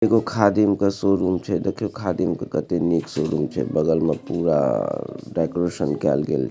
एगो खादिम के शोरूम छै देखयो खादिम के कते निक शोरूम छै बगल में पूरा डेकोरेशन कयल गेल |